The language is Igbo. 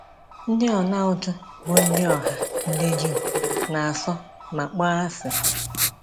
Ndị ọnaụtụ bụ ndị ọha ndị Juu na-asọ ma kpọọ asị.